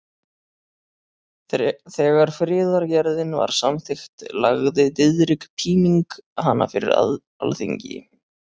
Þegar friðargerðin var samþykkt lagði Diðrik Píning hana fyrir Alþingi.